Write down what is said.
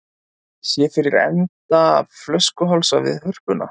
Sér fyrir enda flöskuhálsa við Hörpuna